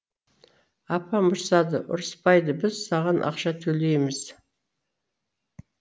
апам ұрсады ұрыспайды біз саған ақша төлейміз